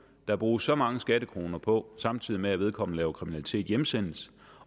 der bruges så mange skattekroner på samtidig med at vedkommende laver kriminalitet hjemsendes